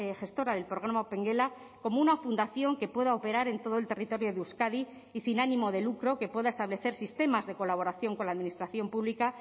gestora del programa opengela como una fundación que pueda operar en todo el territorio de euskadi y sin ánimo de lucro que pueda establecer sistemas de colaboración con la administración pública